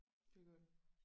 Det er godt